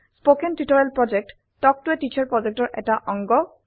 কথন শিক্ষণ প্ৰকল্প তাল্ক ত a টিচাৰ প্ৰকল্পৰ এটা অংগ